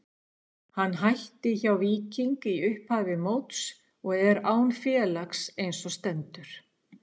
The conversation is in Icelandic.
Hann hætti hjá Víking í upphafi móts og er án félags eins og stendur.